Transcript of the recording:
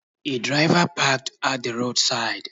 A driver parked at the road side